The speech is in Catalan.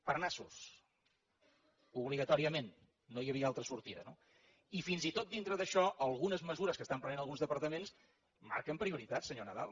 per nassos obligatòriament no hi havia altra sortida no i fins i tot dintre d’això algunes mesures que estan prenent alguns departaments marquen prioritat senyor nadal